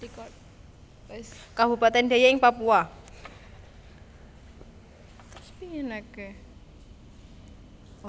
Kabupatèn Deiyai ing Papua